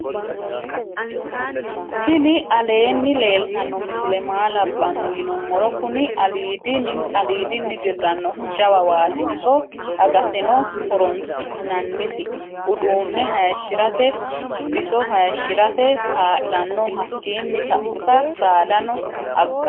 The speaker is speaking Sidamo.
tiini aleni leltano miisile maa labano yinumoro. kuni alidini dirannohu jawa watti. iso aggateno horonsi'nanisi. uduune hayishirate. bissi hayishirate. ka'lano hakini sauta sadano aganno